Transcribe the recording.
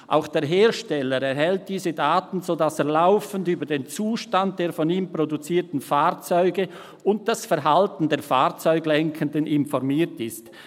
Auch der Hersteller erhält diese Daten, sodass er laufend über den Zustand der von ihm produzierten Fahrzeuge (und das Verhalten der Fahrzeuglenkenden) informiert ist.